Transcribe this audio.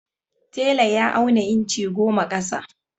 Tela ya auna inci goma ƙasa.